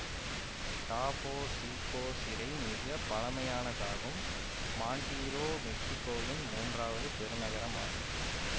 டாபோ சீகோ சிறை மிக பழைமையானதாகும்மாண்டிரே மெக்சிக்கோவின் மூன்றாவது பெருநகரமாகும்